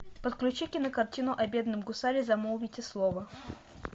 подключи кинокартину о бедном гусаре замолвите слово